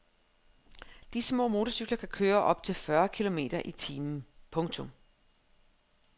De små motorcykler kan køre op til fyrre kilometer i timen. punktum